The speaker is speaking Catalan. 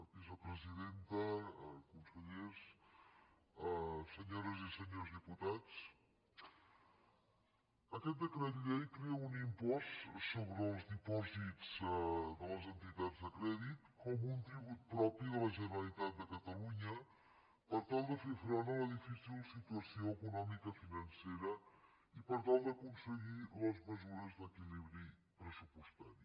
vicepresidenta consellers senyores i senyors diputats aquest decret llei crea un impost sobre els dipòsits de les entitats de crèdit com un tribut propi de la generalitat de catalunya per tal de fer front a la difícil situació econòmica financera i per tal d’aconseguir les mesures d’equilibri pressupostari